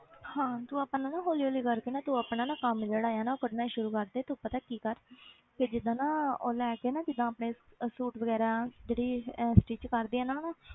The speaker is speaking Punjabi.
ਹਾਂ ਤੂੰ ਆਪਣਾ ਨਾ ਹੌਲੀ ਹੌਲੀ ਕਰਕੇ ਨਾ ਤੂੰ ਆਪਣਾ ਨਾ ਕੰਮ ਜਿਹੜਾ ਹੈ ਨਾ ਉਹ ਕਰਨਾ ਸ਼ੁਰੂ ਕਰਦੇ ਤੂੰ ਪਤਾ ਕੀ ਕਰ ਕਿ ਜਿੱਦਾਂ ਨਾ ਉਹ ਲੈ ਕੇ ਨਾ ਜਿੱਦਾਂ ਆਪਣੇ suit ਵਗ਼ੈਰਾ ਜਿਹੜੀ ਅਹ stitch ਕਰਦੀ ਆ ਨਾ ਉਹਨੂੰ